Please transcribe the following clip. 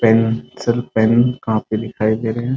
Pencil pen copy दिखाई दे रहे हैं ।